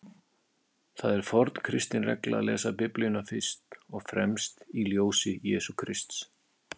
Það er forn kristin regla að lesa Biblíuna fyrst og fremst í ljósi Jesú Krists.